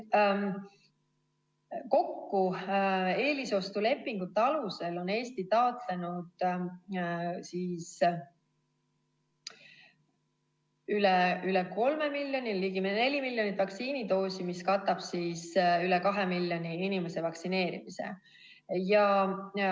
Eelostulepingute alusel on Eesti kokku taotlenud üle 3 miljoni, ligi 4 miljonit vaktsiinidoosi, mis katab üle 2 miljoni inimese vaktsineerimise.